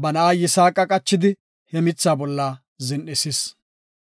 Ba na7a Yisaaqa qachidi, he mitha bolla zin7isis.